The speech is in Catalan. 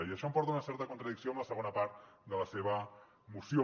i això em porta a una certa contradicció amb la segona part de la seva moció